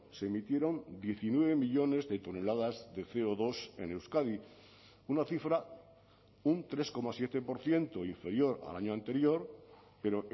se emitieron diecinueve millónes de toneladas de ce o dos en euskadi una cifra un tres coma siete por ciento inferior al año anterior pero